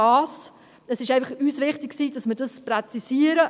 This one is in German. Es ist uns einfach wichtig, dass wir dies als Fraktion präzisieren.